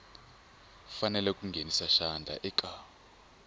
fanele ku nghenisa xandla eka